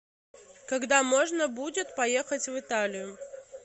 когда можно будет поехать в италию